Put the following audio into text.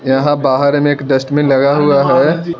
यहां बाहर में एक डस्टबिन लगा हुआ है।